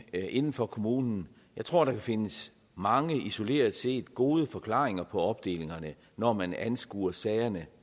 inden for kommunen jeg tror der kan findes mange isoleret set gode forklaringer på opdelingerne når man anskuer sagerne